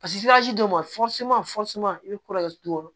Paseke dɔw ma